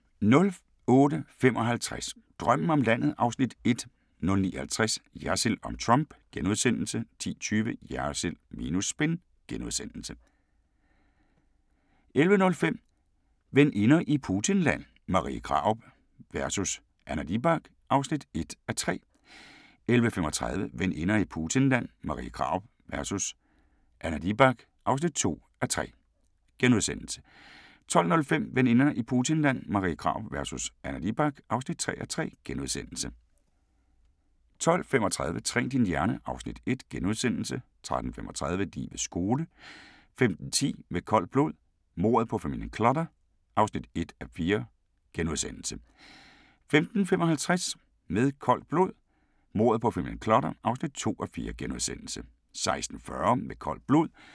08:55: Drømmen om landet (Afs. 1) 09:50: Jersild om Trump * 10:20: Jersild minus spin * 11:05: Veninder i Putinland – Marie Krarup vs. Anna Libak (1:3) 11:35: Veninder i Putinland – Marie Krarup vs. Anna Libak (2:3)* 12:05: Veninder i Putinland – Marie Krarup vs. Anna Libak (3:3)* 12:35: Træn din hjerne (Afs. 1)* 13:35: Livets skole 15:10: Med koldt blod – mordet på familien Clutter (1:4)* 15:55: Med koldt blod – mordet på familien Clutter (2:4)*